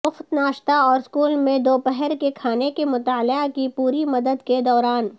مفت ناشتا اور اسکول میں دوپہر کے کھانے کے مطالعہ کی پوری مدت کے دوران